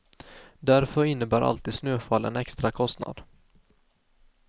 Därför innebär alltid snöfall en extra kostnad.